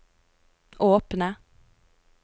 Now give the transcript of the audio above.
åpne